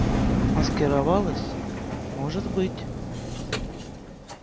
маскировалась может быть